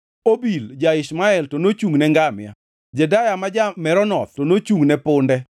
Obil ja-Ishmael to nochungʼne ngamia, Jedeya ma ja-Meronoth to nochungʼne punde.